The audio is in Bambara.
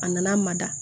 A nana mada